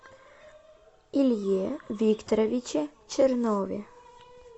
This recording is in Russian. илье викторовиче чернове